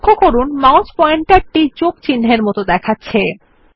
লক্ষ্য করুন mouse pointer টি যোগ চিহ্ন এর মত দেখাচ্ছে